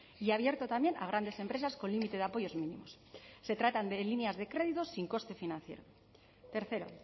y abierto también a grandes empresas con límite de apoyos mínimos se tratan de líneas de crédito sin coste financiero tercero